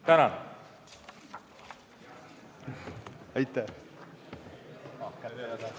Tänan!